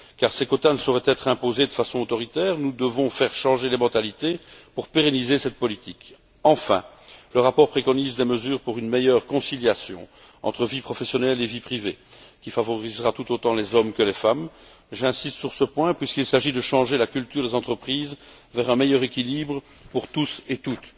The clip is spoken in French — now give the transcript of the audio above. Ces quotas ne sauraient, en effet, être imposés de façon autoritaire. Nous devons faire changer les mentalités pour pérenniser cette politique. Enfin, le rapport préconise des mesures visant à une meilleure conciliation entre vie professionnelle et vie privée, qui favorisera tout autant les hommes que les femmes. J'insiste sur ce point, puisqu'il s'agit de changer la culture des entreprises dans le sens d'un meilleur équilibre pour toutes et tous.